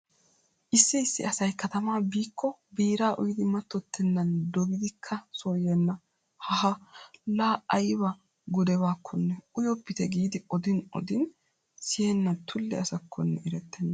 Issi issi asay katamaa biikko biiraa uyidi mattottennan dogidikka so yeenna. Haaha laa ayba gudebakkonne uyoppite giidi odin odin siyenna tulle asakkonne erettenna.